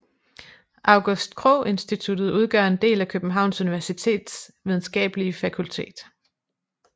August Krogh Instituttet udgør en del af Københavns Universitets videnskabelige fakultet